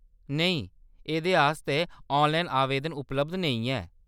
नेईं, एह्‌‌‌दे आस्तै ऑनलाइन आवेदन उपलब्ध नेईं ऐ।